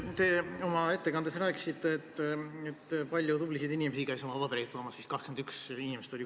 Te oma ettekandes rääkisite, et palju tublisid inimesi käis oma pabereid toomas, kokku vist 21 inimest.